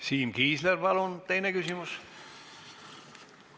Siim Kiisler, palun teine küsimus!